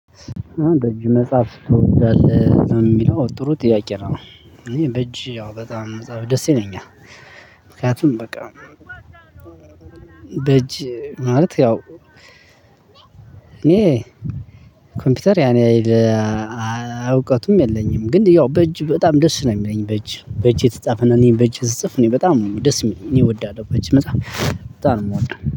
በእጅ መጽሐፍ ትወዳለህ የሚለው ጥሩ ጥያቄ ነው። በእጅ ያው በጣም ደስ ይለኛል። ምክንያቱም በቃ። በእጅ ማለት ያው እኔ ኮምፒውተር ያን ያህል። እውቀቱም የለኝም ግን ያው በእጅ በጣም ደስ ነው የሚለኝ። በእጅ በእጅ የተጻፈ እኔን በእጅ ስጽፍ እኔ በጣም ደስ የሚለኝ እኔ እወዳለሁ። በእጅ በጣም በጣም ነው የምወደው